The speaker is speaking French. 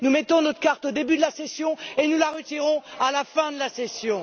Nous mettons notre carte au début de la session et nous la retirons à la fin de la session.